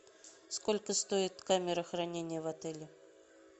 сколько стоит камера хранения в отеле